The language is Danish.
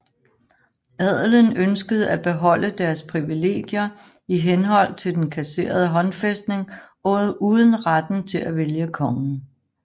Adelen ønskede at beholde deres privilegier i henhold til den kasserede håndfæstning uden retten til at vælge kongen